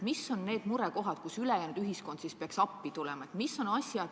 Mis on need murekohad, mille leevendamiseks ülejäänud ühiskond peaks appi tulema?